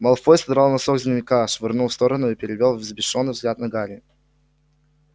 малфой содрал носок с дневника швырнул в сторону и перевёл взбешённый взгляд на гарри